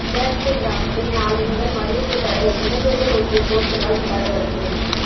பேட்டை கிராமத்தில் நாளை முதல் மதுவுக்கு தடை இளைஞர்கள் ஒட்டிய போஸ்டரால் பரபரப்பு